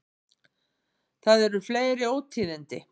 Það eru fleiri ótíðindi.